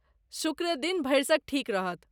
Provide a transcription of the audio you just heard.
शुक्र दिन भरिसक ठीक रहत।